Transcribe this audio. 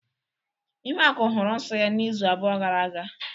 Ihuaku hụrụ nsọ ya izu abụọ gara aga.